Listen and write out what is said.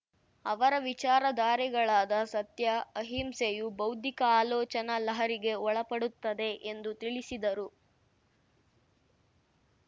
ಅವರ ವಿಚಾರ ಧಾರೆಗಳಾದ ಸತ್ಯ ಅಹಿಂಸೆಯು ಬೌದ್ಧಿಕ ಆಲೋಚನಾ ಲಹರಿಗೆ ಒಳಪಡುತ್ತದೆ ಎಂದು ತಿಳಿಸಿದರು